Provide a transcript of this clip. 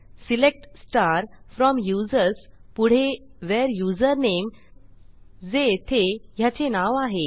select from users पुढे where username जे येथे ह्याचे नाव आहे